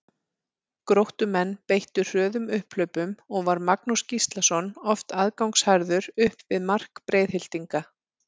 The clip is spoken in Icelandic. Gróttumenn beittu hröðum upphlaupum og var Magnús Gíslason oft aðgangsharður upp við mark Breiðhyltinga.